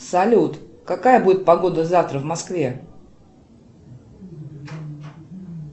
салют какая будет погода завтра в москве